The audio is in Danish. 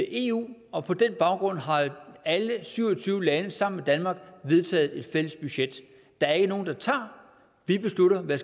eu og på den baggrund har alle syv og tyve lande sammen danmark vedtaget et fælles budget der er ikke nogen der tager vi beslutter hvad